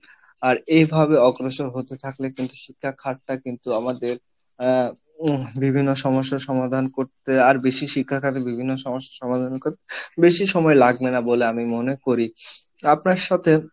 আর এইভাবে অগ্রসর হতে থাকলে কিন্তু শিক্ষা কিন্তু আমাদের আহ বিভিন্ন সমস্যার সমাধান করতে আর বেশি বিভিন্ন সমস্যার সমাধান করতে বেশি সময় লাগবে না বলে আমি মনে করি আপনার সাথে